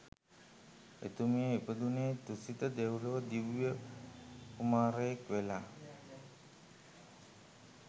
එතුමිය ඉපදුනේ තුසිත දෙව්ලොව දිව්‍ය කුමාරයෙක් වෙලා